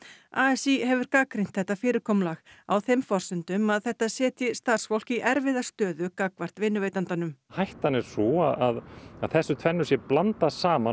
a s í hefur gagnrýnt þetta fyrirkomulag á þeim forsendum að þetta setji starfsfólk í erfiða stöðu gagnvart vinnuveitandanum hættan er sú að þessu tvennu sé blandað saman